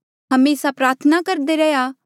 हमेसा प्रार्थना करदे रैहया